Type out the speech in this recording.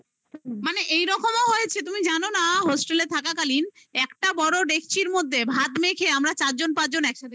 মানে এইরকমও হয়েছে তুমি জানো না hostel থাকাকালীন একটা বড় ডেকচির মধ্যে ভাত মেখে আমরা চারজন পাঁচজন একসাথে